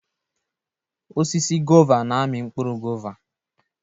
Osisi gọvá na-amị mkpụrụ gọvá.